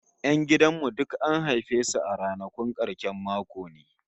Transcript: Yan gidan mu duk an haife su a ranakun karshen mako ne!